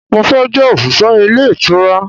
mo fe je osise ile itura